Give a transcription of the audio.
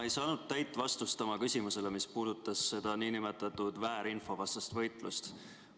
Ma ei saanud täit vastust oma küsimusele, mis puudutas nn väärinfovastast võitlust.